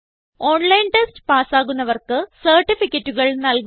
online test പാസ്സാകുന്നവർക്ക് സർട്ടിഫികറ്റുകൾ നല്കുന്നു